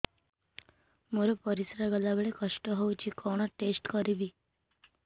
ମୋର ପରିସ୍ରା ଗଲାବେଳେ କଷ୍ଟ ହଉଚି କଣ ଟେଷ୍ଟ କରିବି